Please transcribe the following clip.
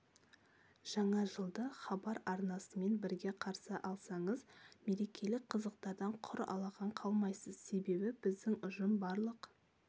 жаңа жылды хабар арнасымен бірге қарсы алсаңыз мерекелік қызықтардан құр алақан қалмайсыз себебі біздің ұжым барлық